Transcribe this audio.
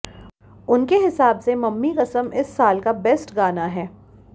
उनके हिसाब से मम्मी कसम इस साल का बेस्ट गाना है